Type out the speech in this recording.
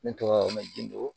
Ne tɔgɔ ma jido